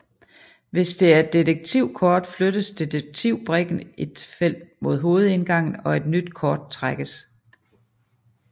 Hvis det er et detektivkort flyttes detektivbrikken et felt mod hovedindgangen og et nyt kort trækkes